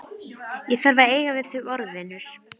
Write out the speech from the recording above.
Ég var ekkert að skipta mér af sambandi ykkar!